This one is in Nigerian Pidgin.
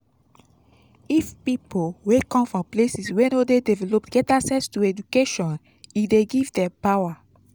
if pipo wey come from places wey no de developed get access to education e de give dem power